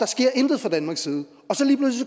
sker intet fra danmarks en